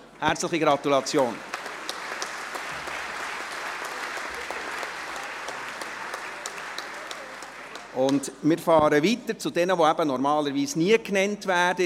Herzliche Gratulation Und wir fahren mit jenen weiter, die normalerweise nie genannt werden.